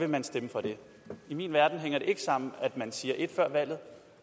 man stemme for det i min verden hænger det ikke sammen at man siger et før valget